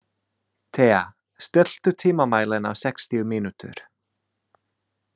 Thea, stilltu tímamælinn á sextíu mínútur.